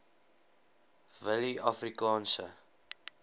willieafrikaanse